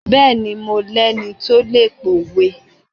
Bẹẹni, mo lẹni tó lè p'owe.